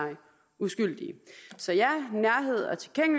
uskyldige så ja